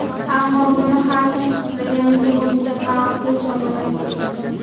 Ammo buni har kim xohlaganicha, o‘ziga ma’qul tomonga burdi.